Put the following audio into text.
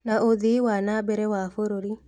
Na ũthii wa na mbere wa bũrũri